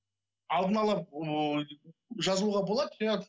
алдын ала жазылуға болады иә